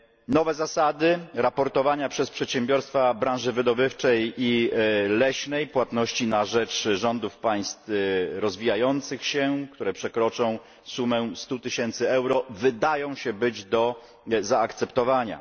Nowe zasady raportowania przez przedsiębiorstwa branży wydobywczej i leśnej, płatności na rzecz rządów państw rozwijających się, które przekroczą sumę 100 tysięcy euro, wydają się być do zaakceptowania.